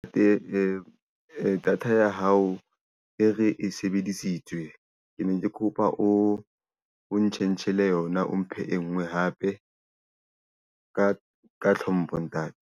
Data ya hao e re e sebedisitswe. Ke ne ke kopa o o change-ele yona, o mphe e nngwe hape. Ka tlhompho, ntate.